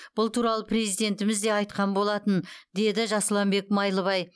бұл туралы президентіміз де айтқан болатын деді жасұланбек майлыбай